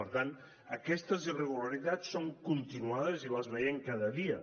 per tant aquestes irregularitats són continuades i les veiem cada dia